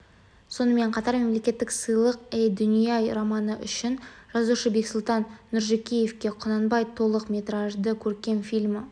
сонымен қатар мемлекеттік сыйлық әй дүние-ай романы үшін жазушы бексұлтан нұржекеевке құнанбай толық метражды көркем фильмі